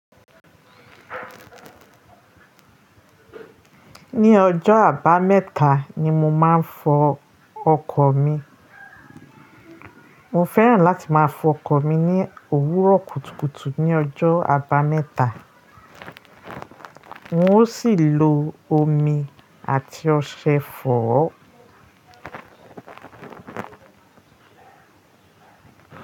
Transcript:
Ní ọjọ́ àbámẹ́ta ni mo máa ń fọ ọkọ̀ mi. Mo fẹ́ràn láti máa fọ ọkọ̀ mi ní òwúrọ̀ kùtùkùtù ní ọjọ́ àbámẹ́ta. N ó sì lo omi àti ọṣẹ fọ̀ ọ́